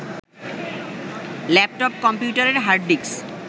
laptop, কম্পিউটারের hard disk